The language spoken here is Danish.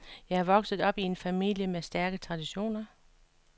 Jeg er vokset op i en familie med stærke traditioner.